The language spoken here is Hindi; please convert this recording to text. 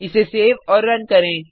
इसे सेव और रन करें